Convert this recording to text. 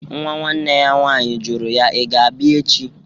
Nwa nwanne ya nwaanyị jụrụ ya, "iga abia echi?"